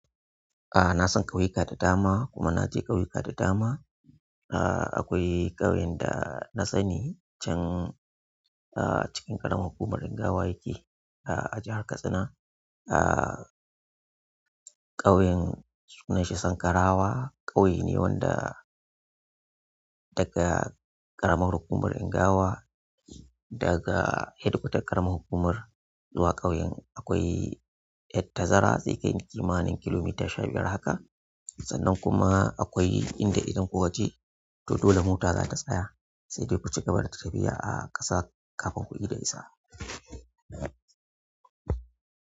A'a na san ƙauyuka da dama kuma na je ƙauyuka da dama. Aaa akwai ƙauyen da na sani can aa cikin ƙaramar hukumar Ingawa yake a jihar Katsina. Aaa ƙauyen sunanshi Sankarawa, ƙauye ne wanda daga ƙaramar hukumar Ingawa daga hedkwatar ƙaramar hukumar zuwa ƙauyen akwai ta zara zai kai kimanin kilomita sha biyar haka sannan kuma akwai inda idan kukaje to dole mota zata tsaya. Sai dai ku cigaba da tafiya a ƙasa kafin ku ida isa.